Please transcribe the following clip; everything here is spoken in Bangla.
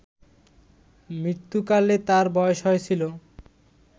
মৃত্যুকালে তাঁর বয়স হয়েছিল